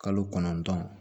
Kalo kɔnɔntɔn